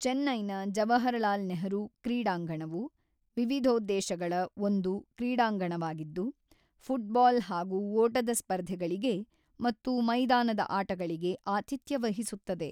ಚೆನ್ನೈನ ಜವಾಹರಲಾಲ್ ನೆಹರು ಕ್ರೀಡಾಂಗಣವು ವಿವಿಧೋದ್ದೇಶಗಳ ಒಂದು ಕ್ರೀಡಾಂಗಣವಾಗಿದ್ದು ಫುಟ್ಬಾಲ್ ಹಾಗೂ ಓಟದ ಸ್ಪರ್ಧೆಗಳಿಗೆ ಮತ್ತು ಮೈದಾನದ ಆಟಗಳಿಗೆ ಆತಿಥ್ಯವಹಿಸುತ್ತದೆ.